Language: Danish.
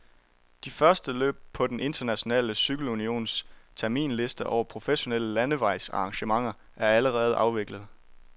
De første løb på den internationale cykelunions terminsliste over professionelle landevejsarrangementer er allerede afviklet.